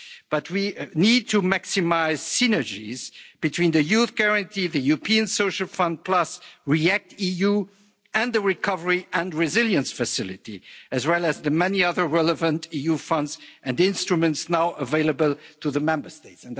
But we need to maximize synergies between the Youth Guarantee, the European Social Fund Plus, REACT EU and the Recovery and Resilience Facility, as well as the many other relevant EU funds and instruments now available to the Member States.